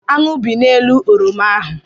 Aṅụ bị n'elu oroma ahụ.